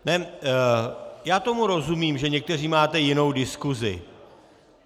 Já tomu rozumím, že někteří máte jinou diskusi.